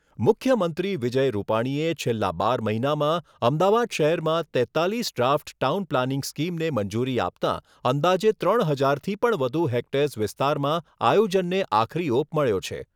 મુખ્યમંત્રી વિજય રૂપાણીએ છેલ્લા બાર મહિનામાં અમદાવાદ શહેરમાં તેત્તાલીસ ડ્રાફ્ટ ટાઉન પ્લાનીંગ સ્કીમને મંજૂરી આપતાં અંદાજે ત્રણ હજારથી પણ વધુ હેક્ટર્સ વિસ્તારમાં આયોજનને આખરી ઓપ મળ્યો છે.